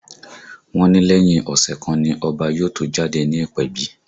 Wọ́n ní lẹ́yìn ọ̀sẹ̀ kan ni Ọba yóò tó jáde ní ìpèbí